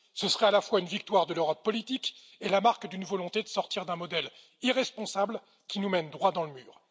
Ce serait à la fois une victoire de l'Europe politique et la marque d'une volonté de sortir d'un modèle irresponsable qui nous mène droit dans le mur.